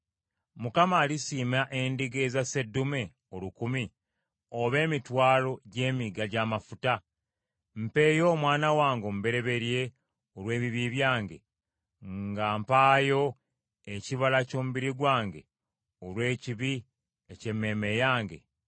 Mukama alisiima endiga eza sseddume olukumi, oba emitwalo gy’emigga gy’amafuta? Mpeeyo omwana wange omubereberye olw’ebibi byange, nga mpaayo ekibala ky’omubiri gwange olw’ekibi eky’emmeeme yange?